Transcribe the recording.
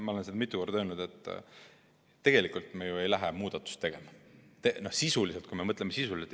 Ma olen siin mitu korda öelnud, et tegelikult me ju ei lähe muudatust tegema – sisuliselt, kui me mõtleme sisuliselt.